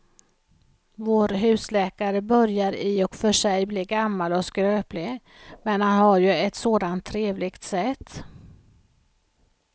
Vår husläkare börjar i och för sig bli gammal och skröplig, men han har ju ett sådant trevligt sätt!